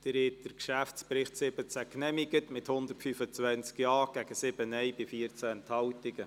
Sie haben den Geschäftsbericht 2017 genehmigt mit 125 Ja- gegen 7 Nein-Stimmen bei 14 Enthaltungen.